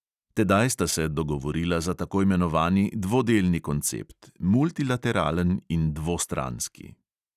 Tedaj sta se dogovorila za tako imenovani dvodelni koncept – multilateralen in dvostranski.